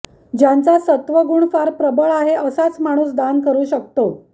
ज्यांचा सत्त्व गुण फार प्रबळ आहे असाच माणूस दान करू शकतो